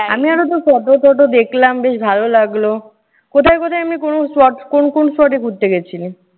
আমি আরও তোর photo টটো দেখলাম, বেশ ভালো লাগল। কোথায় কোথায় এমনি কোনো spot কোন কোন spot এ ঘুরতে গেছিলি?